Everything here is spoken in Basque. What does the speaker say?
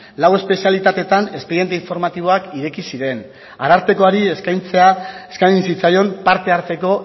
lau espezialitatetan espediente informatiboak ireki ziren arartekoari eskaini zitzaion parte hartzeko